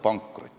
Hea Tarmo!